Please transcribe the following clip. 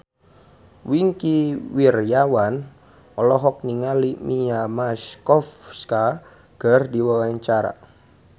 Wingky Wiryawan olohok ningali Mia Masikowska keur diwawancara